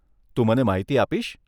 તું મને માહિતી આપીશ?